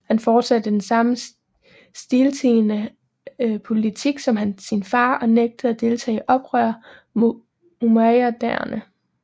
Han fortsatte den samme stiltiende politik som sin far og nægtede at deltage i oprør mod umayyaderne